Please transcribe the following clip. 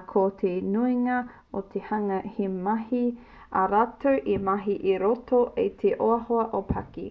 ā ko te nuinga o te hunga he mahi ā rātou e mahi i roto i te ohaoha ōpaki